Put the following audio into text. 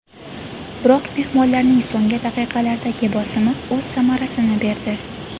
Biroq mehmonlarning so‘nggi daqiqalardagi bosimi o‘z samarasini berdi.